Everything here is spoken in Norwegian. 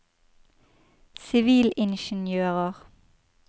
sivilingeniører